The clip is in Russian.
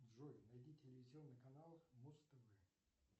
джой найди телевизионный канал муз тв